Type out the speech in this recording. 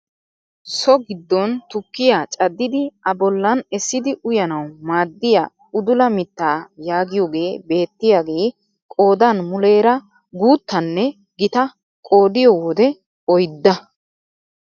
So giddon tukkiyaa caddidi a bollan essidi uyanawuu maaddiyaa udula mittaa yaagiyogee beettiyaage qoodan muleera guttaanne gitaa qoodiyoo wode oydda.